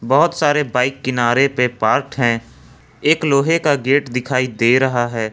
बहोत सारे बाइक किनारे पे पार्कड हैं एक लोहे का गेट दिखाई दे रहा है।